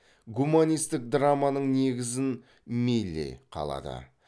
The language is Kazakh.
гуманистік драманың негізін мили қалады